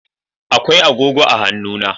Akwai agogo a hannuna.